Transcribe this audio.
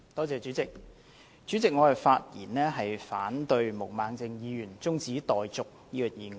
主席，我發言反對毛孟靜議員提出中止待續的議案。